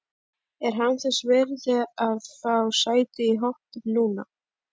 Er hann þess virði að fá sæti í hópnum núna?